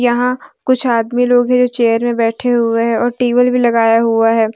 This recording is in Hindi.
यहां कुछ आदमी लोग हैं जो चेयर में बैठे हुए है और टेबल भी लगाया हुआ है।